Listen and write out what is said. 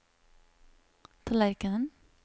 tallerkenen